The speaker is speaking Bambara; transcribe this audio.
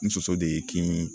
N soso de ye kin